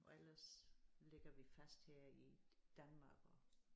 Og ellers ligger vi fast her i Danmark og